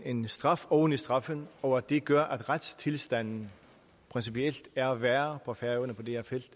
en straf oven i straffen og at det gør at retstilstanden principielt er værre på færøerne på det her felt